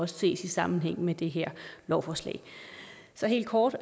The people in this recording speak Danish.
ses i sammenhæng med det her lovforslag så helt kort